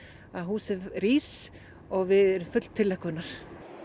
að húsið rís og við erum full tilhlökkunar